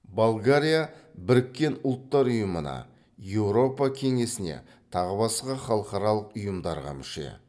болгария біріккен ұлттар ұйымына еуропа кеңесіне тағы басқа халықаралық ұйымдарға мүше